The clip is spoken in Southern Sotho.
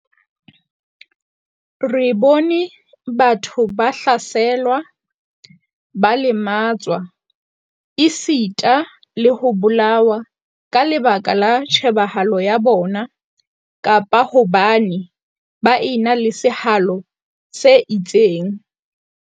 Re bone batho ba hlaselwa, ba lematswa, esita le ho bolawa ka lebaka la tjhebahalo ya bona kapa hobane ba ena le sehalo se itseng.